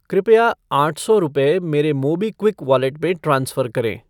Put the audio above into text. कृपया आठ सौ रुपये मेरे मोबीक्विक वॉलेट में ट्रांसफ़र करें।